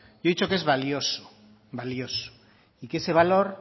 yo he dicho que es valioso valioso y que ese valor